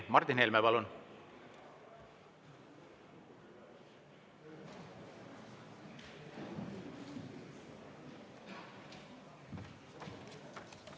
Martin Helme, palun!